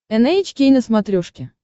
эн эйч кей на смотрешке